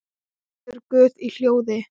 Biður guð í hljóði.